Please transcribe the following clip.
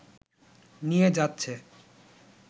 নিয়ে যাচ্ছে